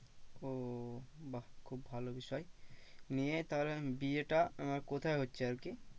ও বাহ খুব ভালো বিষয়। নিয়ে তাহলে বিয়েটা আহ কোথায় হচ্ছে আরকি?